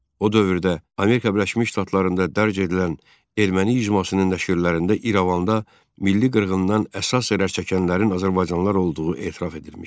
O dövrdə Amerika Birləşmiş Ştatlarında dərc edilən erməni mizammasının nəşrlərində İrəvanda milli qırğından əsas zərər çəkənlərin azərbaycanlılar olduğu etiraf edilmişdi.